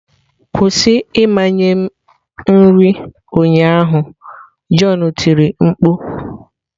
Kwụsị ịmanye m nri ụnyaahụ, john tiri mkpu.